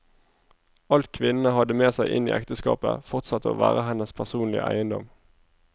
Alt kvinnene hadde med seg inn i ekteskapet, fortsatte å være hennes personlige eiendom.